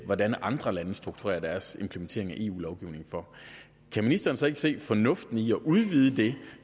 hvordan andre lande strukturerer deres implementering af eu lovgivning kan ministeren så ikke se fornuften i at udvide det